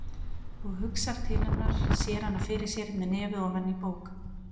Og hugsar til hennar, sér hana fyrir sér með nefið ofan í bók.